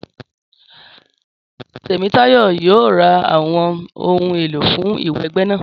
Tèmítáyọ̀ yóò ra àwọn ohun èlò fún ìwẹgbẹ́ náà